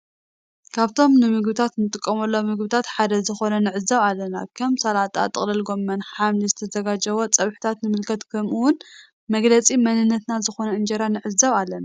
ካብቶም ንምግብነት ንጥቀመሎም ምግብታት ሓደ ዝኮኑ ንዕዘብ ኣለና። ከም ሰላጣ ጥቅልል ጎሞን ሓምሊ ዝተዘሃጀዉ ጸብሕታት ንምልከት ከም እውን መግለጺ መንነትና ዝኮነ እንጀራ ንዕዘብ ኣለና።